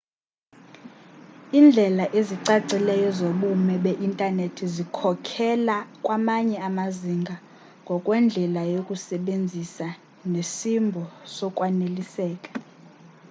indlela ezicacileyo zobume be internethi zikhokhela kwamanye amazinga ngokwendlela yokuyisebenzisa nesimbo sokwaneliseka